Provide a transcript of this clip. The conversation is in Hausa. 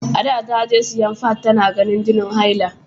Ada ta je siyan fad, ta na ganin jinin hailanta.